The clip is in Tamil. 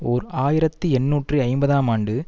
ஓர் ஆயிரத்தி எண்ணூற்று ஐம்பதாம் ஆண்டு